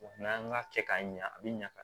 n'an y'a kɛ k'a ɲɛ a bi ɲa ka